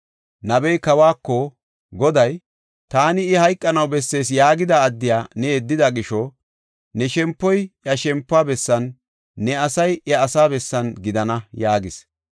Nabey kawako, “Goday, ‘Taani, I hayqanaw bessees yaagida addiya ne yeddida gisho, ne shempoy iya shempuwa bessan, ne asay iya asaa bessan gidana’ ” yaagis.